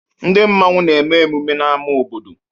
Ndị Mmanwu na-eme emume ha n'ámá obodo.